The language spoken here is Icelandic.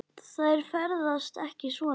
Þær ferðast ekki svona.